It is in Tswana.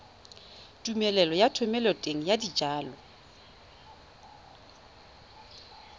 tumelelo ya thomeloteng ya dijalo